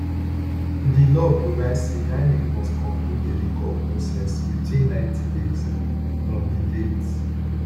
di law provide say inec must conclude a recall process within ninety days from di date